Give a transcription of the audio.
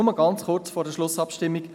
Nur ganz kurz vor der Schlussabstimmung: